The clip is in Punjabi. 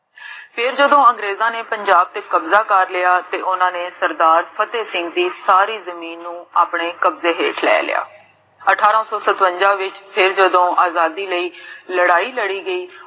ਫੇਰ ਜਦੋਂ ਅੰਗਰੇਜਾਂ ਨੇ ਪੰਜਾਬ ਤੇ ਕਬਜ਼ਾ ਕਰ ਲਿਆ ਤੇ ਓਨਾ ਨੇ ਸਰਦਾਰ ਫ਼ਤੇਹ ਸਿੰਘ ਦੀ ਸਾਰੀ ਜਮੀਨ ਨੂੰ ਆਪਣੇ ਕਬਜੇ ਵਿਚ ਲੈ ਲਿਆ ਅਠਾਰਾ ਸੋ ਸਤਵੰਜਾ ਵਿਚ ਫੇਰ ਜਦੋ ਆਜ਼ਾਦੀ ਲਈ ਲੜਾਈ ਲੜੀ ਗਈ